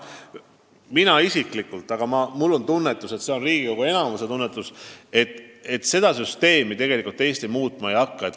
Mina isiklikult tunnetan ja küllap seda tunnetab ka enamik riigikogulasi, et seda süsteemi Eesti muutma ei hakka.